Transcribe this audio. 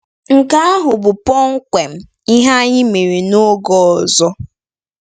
Nke ahụ bụ kpọmkwem ihe anyị mere “n’oge ọzọ”!